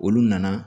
Olu nana